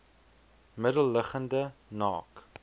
middel liggende naak